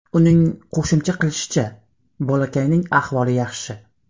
Uning qo‘shimcha qilishicha, bolakayning ahvoli yaxshi.